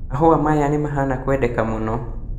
Mahũa maya nĩmahana kwendeka mũno